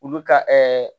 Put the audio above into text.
Olu ka